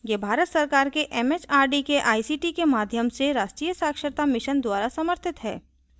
यह भारत सरकार के एमएचआरडी के आईसीटी के माध्यम से राष्ट्रीय साक्षरता mission द्वारा समर्थित है